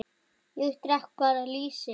Ég drekk bara lýsi!